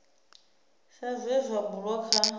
sa zwe zwa bulwa kha